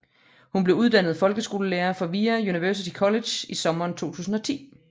Hun blev uddannet folkeskolelærer fra VIA University College i sommeren 2010